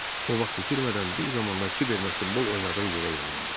O vaxt itirmədən bir zamanlar Kiberlə futbol oynadığı yerə yollandı.